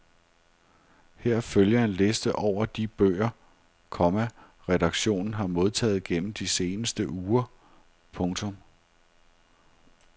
Her følger en liste over de bøger, komma redaktionen har modtaget gennem de seneste uger. punktum